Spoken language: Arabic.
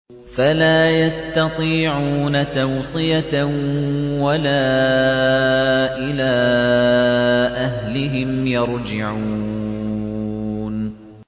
فَلَا يَسْتَطِيعُونَ تَوْصِيَةً وَلَا إِلَىٰ أَهْلِهِمْ يَرْجِعُونَ